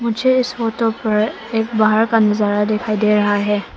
मुझे इस फोटो पर एक बाहर का नजारा दिखाई दे रहा है।